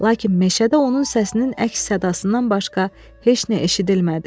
Lakin meşədə onun səsinin əks-sədasından başqa heç nə eşidilmədi.